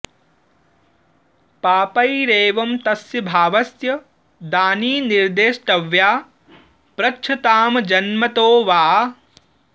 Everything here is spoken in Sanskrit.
पापैरेवं तस्य भावस्य दानि निर्देष्टव्या पृच्छ्तां जन्मतो वा